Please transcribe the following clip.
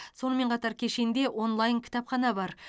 сонымен қатар кешенде онлайн кітапхана бар